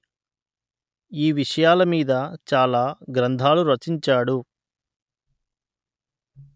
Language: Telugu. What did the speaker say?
ఈ విషయాల మీద చాలా గ్రంధాలు రచించాడు